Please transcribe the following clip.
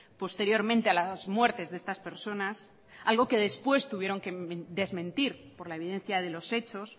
posteriormente a las muertes de estas personas algo que después tuvieron que desmentir por la evidencia de los hechos